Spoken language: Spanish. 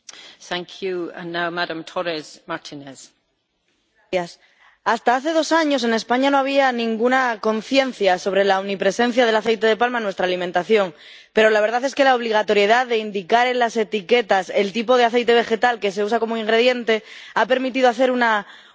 Señora presidenta, hasta hace dos años, en España no había ninguna conciencia sobre la omnipresencia del aceite de palma en nuestra alimentación, pero la verdad es que la obligatoriedad de indicar en las etiquetas el tipo de aceite vegetal que se usa como ingrediente ha permitido hacer una pequeña revolución.